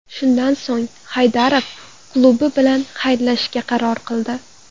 Shundan so‘ng Haydarov klubi bilan xayrlashishga qaror qildi.